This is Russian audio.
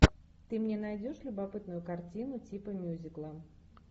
ты мне найдешь любопытную картину типа мюзикла